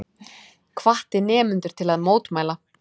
Hvatti nemendur til að mótmæla